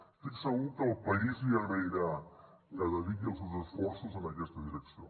estic segur que el país li agrairà que dediqui els seus esforços en aquesta direcció